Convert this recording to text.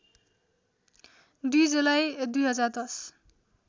२ जुलाई २०१०